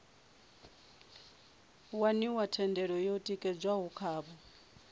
waniwa thendelo yo tikedzwaho khavho